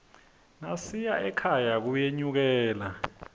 nasiya ekhaya kuyenyukela